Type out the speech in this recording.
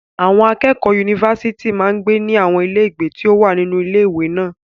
Àwọn akẹ́kọ̀ọ́ yunifásítì máa ń gbé ní àwọn ilé ìgbé tí ó wà nínú ilé ìwé náà.